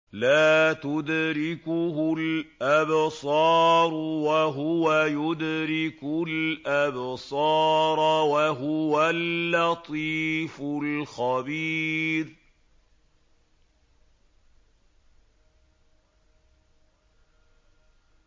لَّا تُدْرِكُهُ الْأَبْصَارُ وَهُوَ يُدْرِكُ الْأَبْصَارَ ۖ وَهُوَ اللَّطِيفُ الْخَبِيرُ